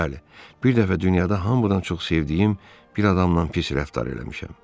Bəli, bir dəfə dünyada hamıdan çox sevdiyim bir adamla pis rəftar eləmişəm.